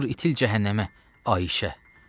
Dur itil cəhənnəmə, Ayşə.